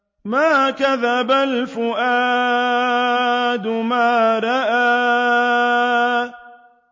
مَا كَذَبَ الْفُؤَادُ مَا رَأَىٰ